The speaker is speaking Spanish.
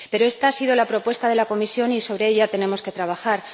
Pero esta ha sido la propuesta de la Comisión y sobre ella tenemos que trabajar.